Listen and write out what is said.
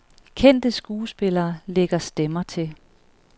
Kendte skuespillere lægger stemmer til.